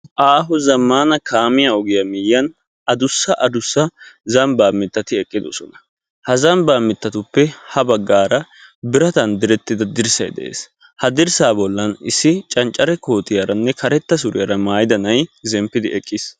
Aaho zammana kaamiya ogiya miyyiyan addussa addussa zambba mittati eqqidosona. Ha zambba miittatupe biratan direttida dirssay de'ees. Ha dirssa bollan issi canccare kootiyarane karetta suriyara maayida naa'ay zemppidi eqqiis.